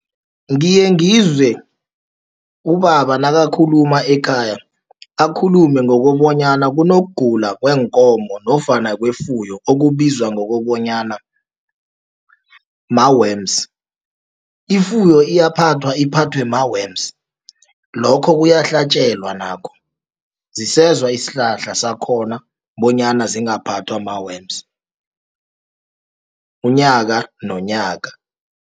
Ngiye ngizwe ubaba nakakhuluma ekhaya, akhulume ngokobonyana kunokugula kweenkomo nofana kwefuyo, okubizwa ngokobonyana ma-worms. Ifuyo iyaphathwa, iphathwe ma-worms, lokho kuyahlatjelwa nakho, zisezwa isihlahla sakhona, bonyana zingaphathwa ma-worms, unyaka nonyaka.